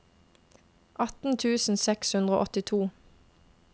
atten tusen seks hundre og åttito